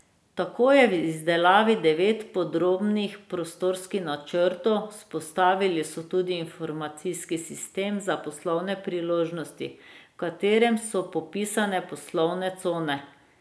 Tako je v izdelavi devet podrobnih prostorskih načrtov, vzpostavili so tudi informacijski sistem za poslovne priložnosti, v katerem so popisane poslovne cone.